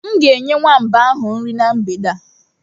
M ga-enye nwamba ahụ nri na mgbede a.